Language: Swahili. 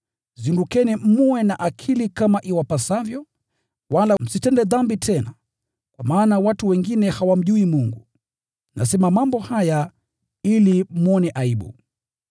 Zindukeni mwe na akili kama iwapasavyo, wala msitende dhambi tena; kwa maana watu wengine hawamjui Mungu. Nasema mambo haya ili mwone aibu.